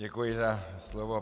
Děkuji za slovo.